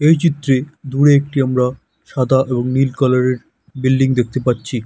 এই চিত্রেদূরে একটি আমরা সাদা ও নীল কালারের বিল্ডিং দেখতে পাচ্ছি ।